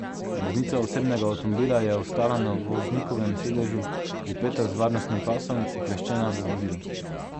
Voznica osebnega avtomobila je ostala na voznikovem sedežu, pripeta z varnostnim pasom, ukleščena v vozilu.